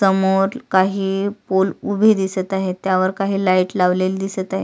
समोर काही पोल उभे दिसत आहेत त्यावर काही लाइट लावलेले दिसत आहेत.